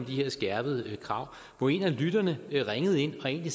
her skærpede krav hvor en af lytterne ringede ind og egentlig